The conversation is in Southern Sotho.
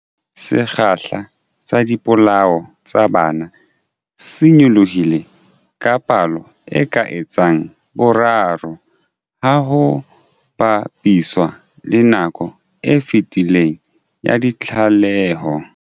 Sekgahla sa dipolao tsa bana se nyolohile ka palo e ka etsang boraro ha ho ba piswa le nakong e fetileng ya ditlaleho.